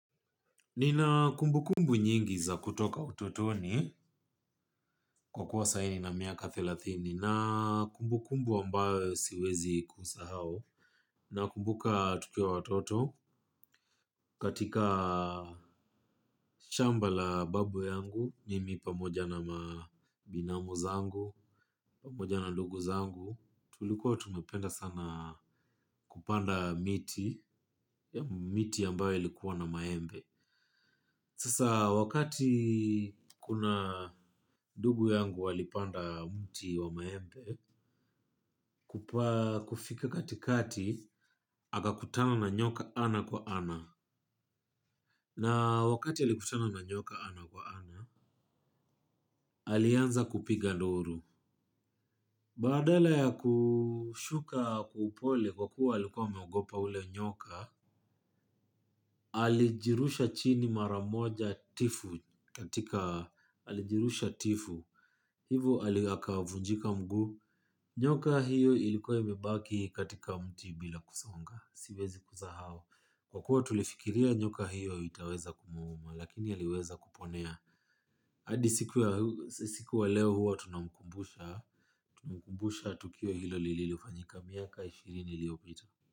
Nina kumbukumbu nyingi za kutoka utotoni kwa kuwa saa hii nina miaka thelathini na kumbukumbu ambayo siwezi isahau na kumbuka tukiwawatoto katika shamba la babu yangu nimi pamoja na binamu zangu pamoja na ndugu zangu tulikuwa tunapenda sana kupanda miti ya miti ambayo ilikuwa na maembe. Sasa wakati kuna ndugu yangu walipanda mti wa maembe kufika katikati akakutana na nyoka ana kwa ana na wakati alikutana na nyoka ana kwa ana alianza kupiga nduru. Badala ya kushuka kwa upole kwa kuwa alikuwa ameogopa ule nyoka. Alijirusha chini mara moja tifu katika alijirusha tifu. Hivyo akavunjika mguu. Nyoka hiyo ilikuwa imebaki katika mti bila kusonga. Siwezi kusahau kwa kuwa tulifikiria nyoka hiyo itaweza kumuuma. Lakini aliweza kuponea. Adi siku ya leo huwa tunamkumbusha. Tunamkubusha. Tukio hilo lililofanyika miaka ishirini iliyopita.